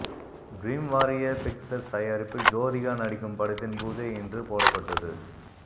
dream warrior pictures தயாரிப்பில் ஜோதிகா நடிக்கும் படத்தின் பூஜை இன்று போடப்பட்டது